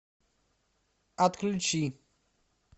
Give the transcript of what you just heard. отключи